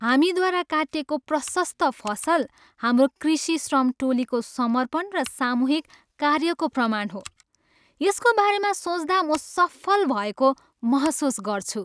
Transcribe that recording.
हामीद्वारा काटिएको प्रशस्त फसल हाम्रो कृषि श्रम टोलीको समर्पण र सामूहिक कार्यको प्रमाण हो। यसको बारेमा सोच्दा म सफल भएको महसुस गर्छु।